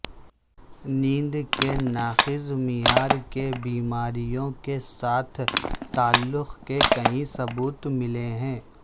نیند کے ناقص معیار کے بیماریوں کے ساتھ تعلق کے کئی ثبوت ملے ہیں